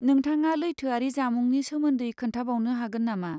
नोंथाङा लैथोआरि जामुंनि सोमोन्दै खोन्थाबावनो हागोन नामा?